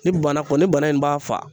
Ni bana kɔni bana in b'a fa